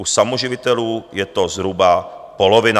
U samoživitelů je to zhruba polovina.